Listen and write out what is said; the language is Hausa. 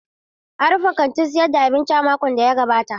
An rufe kantin sayar da abinci a cikin makon da ya gabata.